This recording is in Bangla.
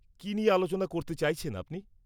-কী নিয়ে আলোচনা করতে চাইছেন আপনি?